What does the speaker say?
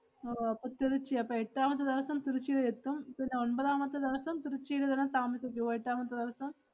അഹ് ഓ അപ്പം തിരുച്ചി അപ്പ എട്ടാമത്തെ ദെവസം തിരുച്ചില് എത്തും, പിന്നെ ഒൻപതാമത്തെ ദെവസം തിരുച്ചില് തന്നെ തമസിക്കുവോ? എട്ടാമത്തെ ദെവസം.